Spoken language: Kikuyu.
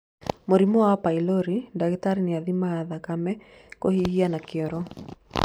Mũrimũ wa pylori, dagĩtarĩ nĩ athimaga thakame, kũhihia kana kĩoro.